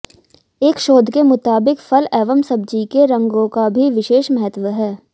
एक शोध के मुताबिक फल एवं सब्जी के रंगों का भी विशेष महत्व है